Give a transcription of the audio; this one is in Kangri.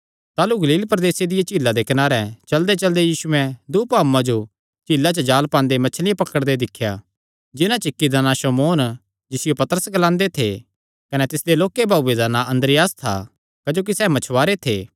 ताह़लू गलील प्रदेसे दिया झीला दे कनारे चलदेचलदे यीशुयैं दूँ मछुवारे भाऊआं जो झीला च जाल़ पांदे दिख्या मतलब जिन्हां च इक्क शमौन जिसियो पतरस ग्लांदे थे कने दूआ तिसदा भाऊ अन्द्रियास क्जोकि सैह़ मच्छियां पकड़णे आल़े थे